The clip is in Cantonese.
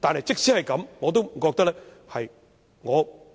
但是，即使這樣，我覺得